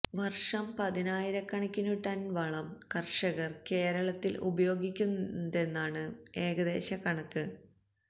വർഷം പതിനായരക്കണക്കിനു ടൺ വളം കർഷകർ കേരളത്തിൽ ഉപയോഗിക്കുന്നുണ്ടെന്നാണ് ഏകദേശ കണക്ക്